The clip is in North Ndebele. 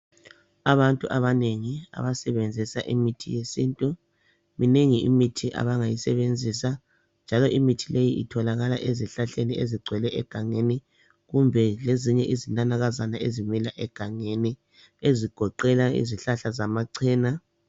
Abantu abanengi abasebenzisa imithi yesintu. Minengi imithi abangayisebenzisa . Njalo imithi leyi itholakala ezihlahleni ezigcwele egangeni kumbe lezinye izinanakazana ezimila egangeni ezigoqela izihlahla zamachena.